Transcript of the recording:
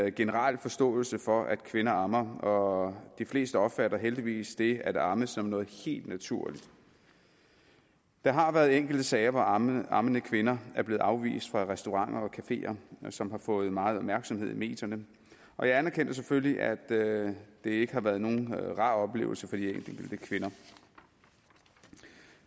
en generel forståelse for at kvinder ammer og de fleste opfatter heldigvis det at amme som noget helt naturligt der har været enkelte sager hvor ammende ammende kvinder er blevet afvist fra restauranter og cafeer og som har fået meget opmærksomhed i medierne og jeg anerkender selvfølgelig at det ikke har været nogen rar oplevelse for de enkelte kvinder